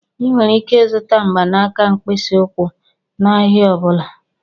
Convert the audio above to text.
Ị nwere ike ịzụta mgbanaka mkpịsị ụkwụ n'ahịa ọ bụla.